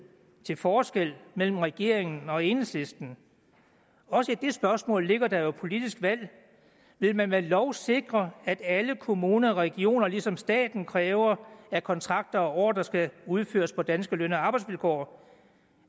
til forskel mellem regeringen og enhedslisten også i det spørgsmål ligger der jo et politisk valg vil man med lov sikre at alle kommuner og regioner ligesom staten kræver at kontrakter og ordrer skal udføres på danske løn og arbejdsvilkår